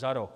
za rok.